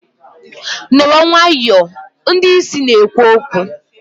nọrọ nwayọọ! ndị isi na-ekwu okwu